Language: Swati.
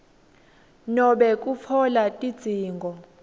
nobe kutfola tidzingo